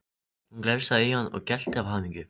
Hún glefsaði í hann og gelti af hamingju.